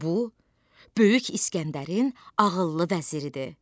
Bu, böyük İsgəndərin ağıllı vəziridir.